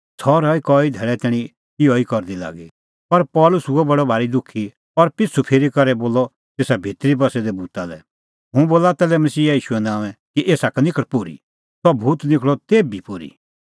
सह रही कई धैल़ै तैणीं इहअ ई करदी लागी पर पल़सी हुअ बडअ भारी दुखी और पिछ़ू फिरी करै बोलअ तेसा भितरी बस्सै दै भूता लै हुंह बोला ताल्है मसीहा ईशूए नांओंए कि एसा का निखल़ पोर्ही सह भूत निखल़अ तेभी पोर्ही